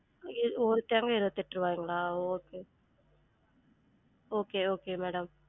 எர் ஒரு தேங்கா இருவெத்துட்டு ருவாங்களா? okay okay okay madam